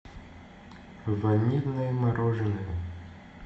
ванильное мороженое